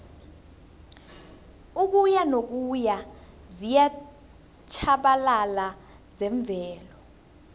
ukuyanokuya ziyatjhabalala zemvelo